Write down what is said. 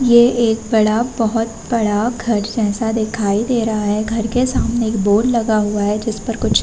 ये एक बड़ा बहोत बड़ा घर जैसा दिखाई दे रहा है। घर के सामने एक बोर्ड लगा हुवा है। जिस पर कुछ --